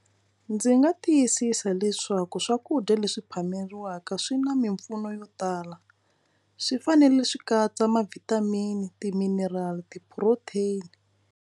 Ndzi nga tiyisisa leswaku swakudya leswi phameriwaka swi na mimpfuno yo tala swi fanele swi katsa ma vitamin ti-mineral, ti-protein.